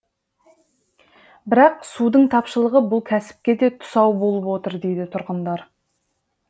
бірақ судың тапшылығы бұл кәсіпке де тұсау болып отыр дейді тұрғындар